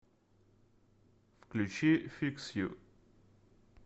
включи фикс ю